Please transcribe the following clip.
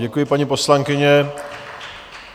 Děkuji, paní poslankyně.